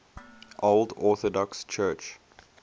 old orthodox church